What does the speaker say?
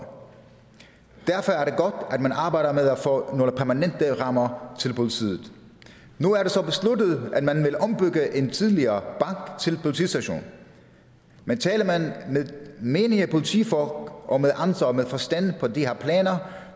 derfor er det godt at man arbejder med at få nogle permanente rammer til politiet nu er det så besluttet at man vil ombygge en tidligere til politistation men taler man med menige politifolk og med andre med forstand på de her planer